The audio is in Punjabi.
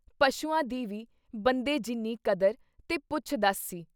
ਪਸ਼ੂਆਂ ਦੀ ਵੀ ਬੰਦੇ ਜਿੰਨੀ ਕਦਰ ਤੇ ਪੁੱਛ-ਦੱਸ ਸੀ I